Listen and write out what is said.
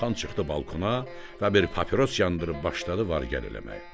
Xan çıxdı balkona və bir papiros yandırıb başladı var-gəl eləməyə.